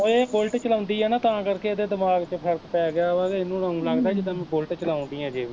ਓ ਏਹ ਬੁਲਟ ਚਲਾਉਂਦੀ ਐ ਨਾ ਤਾਂ ਕਰਕੇ ਏਹਦੇ ਦਿਮਾਗ ਚ ਫਰਕ ਪੈ ਗਿਆ ਵਾਂ ਤੇ ਇਹਨੂੰ ਊ ਲੱਗਦਾ ਜਿਦਾਂ ਮੈਂ ਬੁਲਟ ਚਲਾਉਣ ਡਈ ਆ ਅਜੇ ਵੀ